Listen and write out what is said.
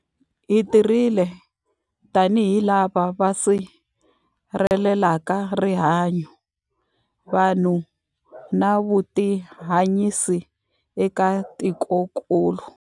Hi tirhile tanihi lava va sirhelelaka rihanyu, vanhu na vutihanyisi eka tikokulu.